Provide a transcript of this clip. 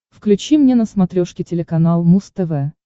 включи мне на смотрешке телеканал муз тв